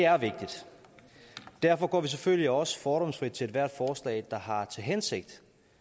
derfor går vi selvfølgelig også fordomsfrit til ethvert forslag der har til hensigt